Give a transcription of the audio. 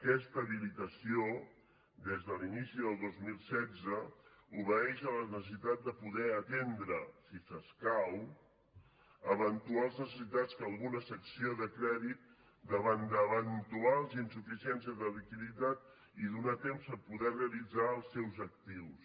aquesta habilitació des de l’inici del dos mil setze obeeix a les necessitats de poder atendre si s’escau eventuals necessitats que alguna secció de crèdit davant d’eventuals insuficiències de liquiditat i donar temps per poder realitzar els seus actius